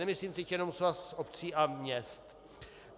Nemyslím teď jenom Svaz obcí a měst.